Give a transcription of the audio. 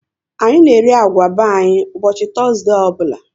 Anyị na eri agwa be anyị ụbọchị Tọzdee ọbụla